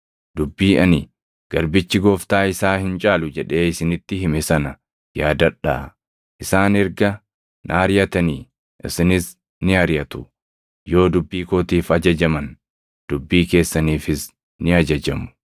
Dubbii ani, ‘Garbichi gooftaa isaa hin caalu’ + 15:20 \+xt Yoh 13:16\+xt* jedhee isinitti hime sana yaadadhaa. Isaan erga na ariʼatanii, isinis ni ariʼatu. Yoo dubbii kootiif ajajaman, dubbii keessaniifis ni ajajamu.